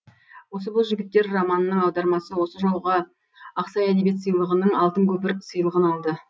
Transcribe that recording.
осы боз жігіттер романының аудармасы осы жолғы ақсай әдебиет сыйлығының алтын көпір сыйлығын алды